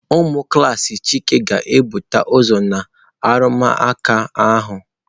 Ụmụ klas Chika ga-ebute ụzọ na arụmụka ahụ.